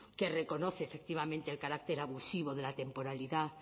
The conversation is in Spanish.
que reconoce efectivamente el carácter abusivo de la temporalidad